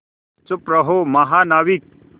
चुप रहो महानाविक